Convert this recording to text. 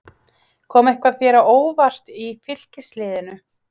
Kom eitthvað þér á óvart í Fylkisliðinu?